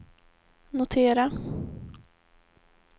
notera